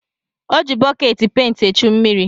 O ji bọkeetị penti echu mmiri.